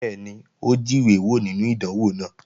Bẹ́ẹ̀ni, ó jíwé wò nínú ìdánwò náà